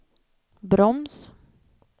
broms